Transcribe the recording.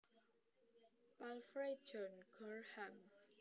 Palfrey John Gorham